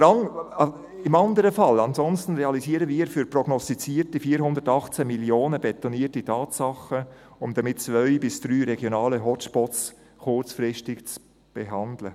Andernfalls realisieren wir für prognostizierte 418 Mio. Franken betonierte Tatsachen, um damit zwei bis drei regionale Hotspots kurzfristig zu behandeln.